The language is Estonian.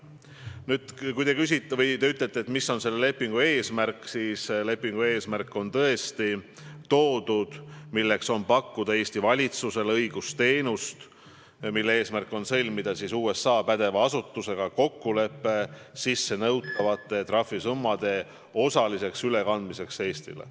Nüüd, kui te küsite, mis on selle lepingu eesmärk, siis lepingu eesmärk on tõesti, et Eesti valitsusele pakutaks õigusteenust, et USA pädeva asutusega sõlmitaks kokkulepe sissenõutavate trahvisummade osaliseks ülekandmiseks Eestile.